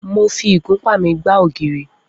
Mo fi ìgúnpá mi gbá ògiri.